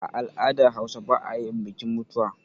A al'dar hausa ba ayin bikin mutuwa